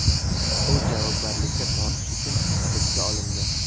U javobgarlikka tortish uchun hibsga olindi.